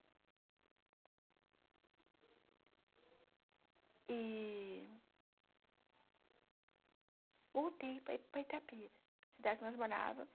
E voltei para para Itapira, cidade que nós morávamos.